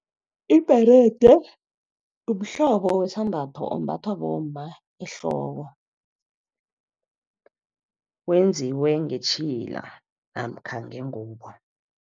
Ibherede mhlobo wesambatho, ombathwa bomma ehloko. Wenziwe ngetjhila namkha ngengubo.